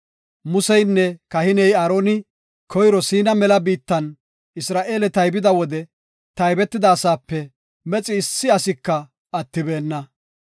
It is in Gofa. Museynne kahiney Aaroni koyro Siina mela biittan Isra7eele taybida wode taybetida asaape mexi issi asika attibeenna.